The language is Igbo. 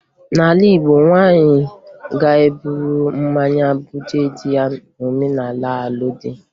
N'ala Igbo, nwaanyị ga-eburu mmanya bunye di ya n'omenala alụmdi